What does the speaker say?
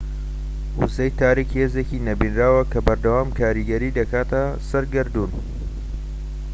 وزەی تاریك هێزێکی نەبینراوە کە بەردەوام کاریگەری دەکاتە سەر گەردوون